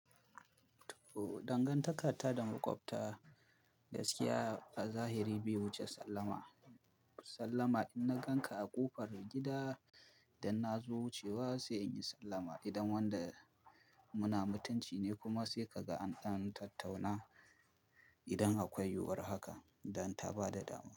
Dangantakata da makwabta, gaskiya a zahiri bai wuce sallama. Sallama idan na ganka a ƙofar gida dan na zo wucewa sai in yi sallama idan wanda muna mutunci ne kuma sai ka ga an tattauna idan akwai yiwuwar haka dan ta ba da dama.